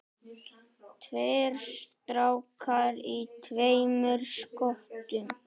Tveir strákar í tveimur skotum.